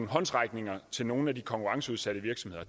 håndsrækning til nogle af de konkurrenceudsatte virksomheder